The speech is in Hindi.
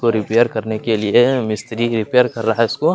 को रिपेयर करने के लिए मिस्त्री रिपेयर कर रहा है उसको --